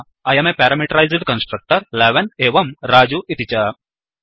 I um parameterized constructor 11 एवं रजु इति च